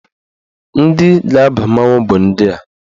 Ndị ga-aba mmanwụ bụ ndị a.